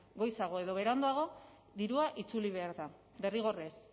goizago edo beranduago dirua itzuli behar da derrigorrez